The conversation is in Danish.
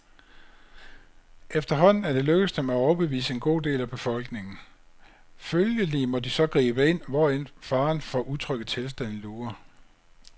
Efterhånden er det lykkedes dem at overbevise en god del af befolkningen. Følgelig må de så gribe ind, hvorend faren for utrygge tilstande lurer.